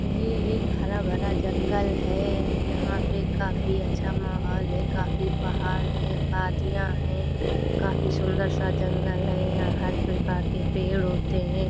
ये एक हरा भरा जंगल है। यहाँ पे काफ़ी अच्छा माहौल है। काफ़ी पहाड़ हैं वादियाँ हैं। काफ़ी सुंदर सा जंगल है। यहाँ हर प्रकार के पेड़ होते हैं।